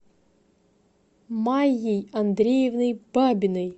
майей андреевной бабиной